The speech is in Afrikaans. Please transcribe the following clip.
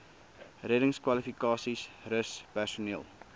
reddingskwalifikasies rus personeel